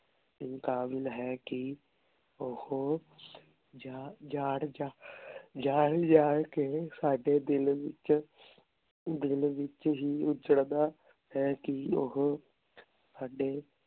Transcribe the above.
ਕਾਬਿਲ ਹੈ ਕੀ ਓਹੋ ਜਾਂ ਜਾਣ ਜਾਣ ਜਾਣ ਜਾਣ ਕੇ ਸਾਡੇ ਦਿਲ ਵਿਚ ਦਿਲ ਵਿਚ ਹੀ ਉਜਾਰਦਾ ਹੈ ਕੀ ਓਹੋ ਸਾਡੇ